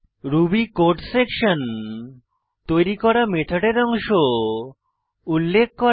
Ruby code section তৈরী করা মেথডের অংশ উল্লেখ করে